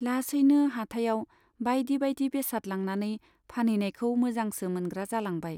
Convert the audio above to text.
लासैनो हाटाइयाव बाइदि बाइदि बेसाद लांनानै फानहैनायखौ मोजांसो मोनग्रा जालांबाय।